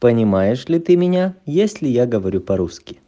понимаешь ли ты меня если я говорю по-русски